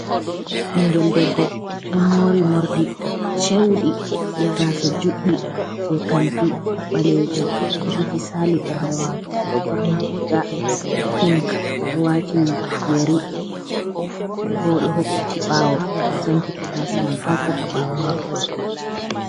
Ingel debbo yemmori morɗi ceudi be gasa juɗdi je kanti balejum juti sali bernde mako odo borni ga pink odo wati yeri bodo hokkiti bawo sankiti gasa man ha saka ɓawo mako.